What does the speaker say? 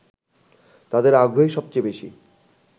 তাদের আগ্রহই সবচেয়ে বেশি